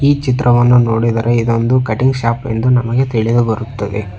ಚಿತ್ರವನ್ನು ನೋಡಿದರೆ ಇದೊಂದು ಕಟಿಂಗ್ ಶಾಪ್ ಎಂದು ನಮಗೆ ತಿಳಿದು ಬರುತ್ತದೆ.